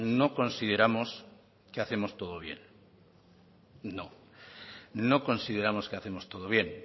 no consideramos que hacemos todo bien no no consideramos que hacemos todo bien